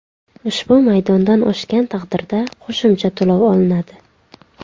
Ushbu maydondan oshgan taqdirda qo‘shimcha to‘lov olinadi.